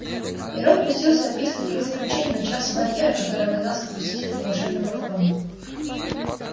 и рон пустился описывать их злоключения начав с барьера который оказался впустить их на волшебную платформу